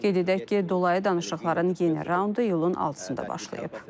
Qeyd edək ki, dolayı danışıqların yeni raundu iyulun 6-sında başlayıb.